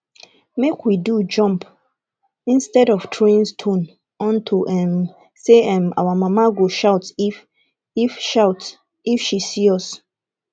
make we do jump instead of throwing stone unto um say um our mama go shout if shout if she see us